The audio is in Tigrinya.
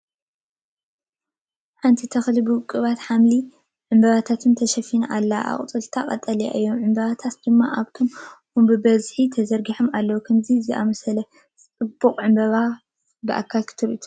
ሓንቲ ተኽሊ ብውቁባት ሐምላይ ዕምባባታት ተሸፊና ኣላ። ኣቝጽልቱ ቀጠልያ እዩ፣ ዕምባባታቱ ድማ ኣብታ ኦም ብብዝሒ ተዘርጊሑ ኣሎ። ከምዚ ዝኣመሰለ ጽቡቕ ዕምባባታት ብኣካል ክትሪኦ ትደሊ ዶ?